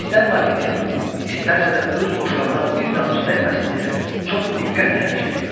İstər Latiyanın, istərsə də öz boşqabına bir damcı dəyməsin deyə çox diqqətlə hərəkət edirdi.